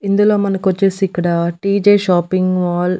ఇందులో మనకొచ్చేసి ఇక్కడ టీజే షాపింగ్ మాల్ --